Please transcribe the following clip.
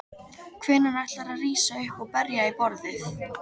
Hvenær ætlarðu að rísa upp og berja í borðið?